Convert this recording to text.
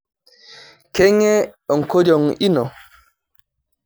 Keng'e enkoriong ino?